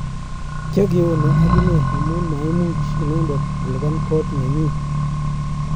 Kyakeonei akine amu maimuch inendet kolipan kot nyi.